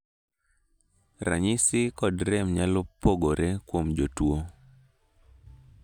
ranyisi kod rem nyalo pogore kuom jotuo